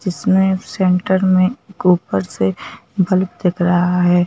जिसमें सेंटर में ऊपर से बल्ब दिख रहा है।